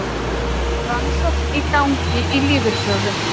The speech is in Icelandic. Rannsókn í gangi á lífeyrissjóðunum